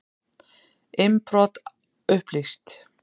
Innbrot upplýst